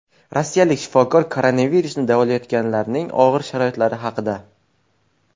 Rossiyalik shifokor koronavirusni davolayotganlarning og‘ir sharoitlari haqida.